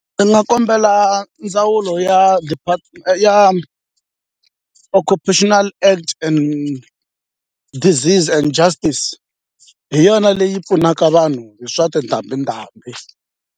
Ndzi nga kombela ndzawulo ya ya occupational act and disease and justice hi yona leyi pfunaka vanhu hi swa tindhambi ndhambi.